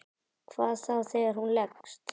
Hvað þá þegar hún leggst.